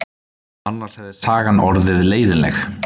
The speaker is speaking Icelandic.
Annars hefði sagan orðið leiðinleg.